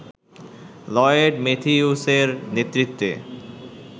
Lloyd ম্যাথিউসের নেতৃত্বে